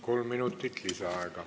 Kolm minutit lisaaega.